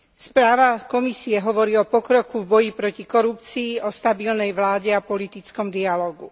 Správa Komisie hovorí o pokroku v boji proti korupcii, o stabilnej vláde a politickom dialógu.